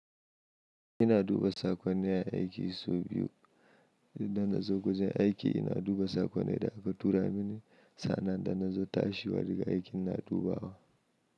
Ina duba sakonni a aiki sau biyu. Da na zo wurin aiki ina duba sakon da aka tura mini, sa'annan idan na zo tashiwa daga aiki ina dubawa.